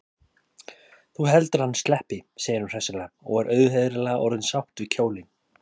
Þú heldur að hann sleppi, segir hún hressilega og er auðheyrilega orðin sátt við kjólinn.